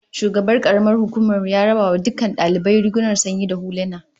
Shugaban karamar hukumar mu ya raba wa dukkan daliban rigunan sanyi da huluna